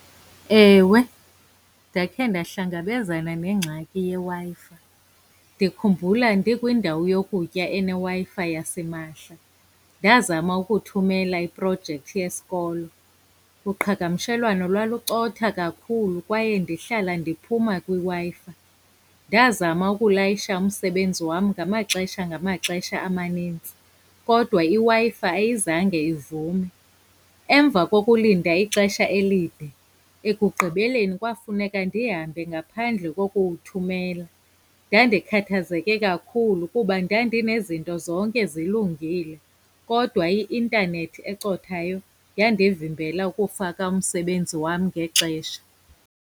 Ewe, ndakhe ndahlangabezana nengxaki yeWi-Fi. Ndikhumbula ndikwindawo yokutya eneWi-Fi yasimahla, ndazama ukuthumela iprojekthi yesikolo. Uqhagamshelwano lwalucotha kakhulu kwaye ndihlala ndiphuma kwiWi-Fi. Ndazama ukulayisha umsebenzi wam ngamaxesha ngamaxesha amaninzi, kodwa iWi-Fi ayizange ivume. Emva kokulinda ixesha elide, ekugqibeleni kwafuneka ndihambe ngaphandle kokuwuthumela. Ndandikhathazeke kakhulu kuba ndandinezinto zonke zilungile, kodwa i-intanethi ecothayo yandivimbela ukufaka umsebenzi wam ngexesha.